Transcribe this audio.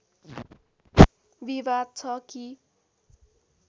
विवाद छ कि